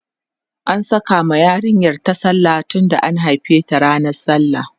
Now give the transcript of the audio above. an Saka ma yarinyar ta sallah tunda an haife ta ranan sallah